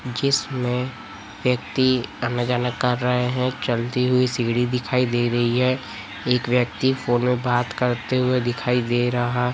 जिसमें व्यक्ति आना जाना कर रहे हैं चलती हुई सीढ़ी दिखाई दे रही है एक व्यक्ति फोन में बात करते हुए दिखाई दे रहा--